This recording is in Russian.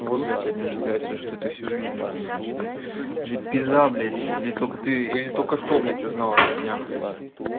вот блядь я не удивляюсь то что ты это всю жизнь уже знаешь пизда блять не только ты или только что блядь узнал от меня блядь